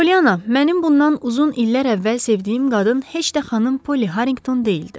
Polyana, mənim bundan uzun illər əvvəl sevdiyim qadın heç də xanım Polly Harrington deyildi.